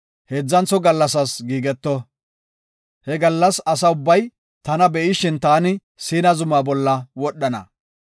heedzantho gallasas giigeto. He gallas asa ubbay tana be7ishin taani Siina zuma bolla wodhana.